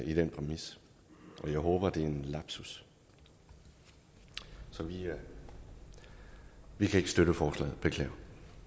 i den præmis og jeg håber det er en lapsus så vi kan ikke støtte forslaget beklager